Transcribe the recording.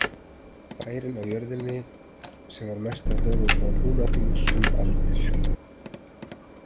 Bærinn á jörðinni sem var mesta höfuðból Húnaþings um aldir.